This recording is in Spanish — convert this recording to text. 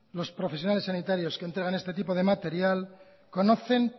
los profesionales sanitarios que entregan este tipo de material conocen